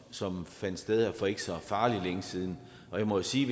som fandt sted her for ikke så farlig længe siden og jeg må sige